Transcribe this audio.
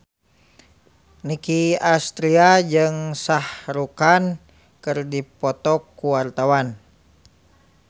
Nicky Astria jeung Shah Rukh Khan keur dipoto ku wartawan